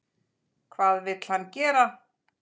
Hvað vill hann gera?